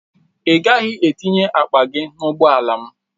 Ị gaghị etinye akpa gị n'ụgbọala m!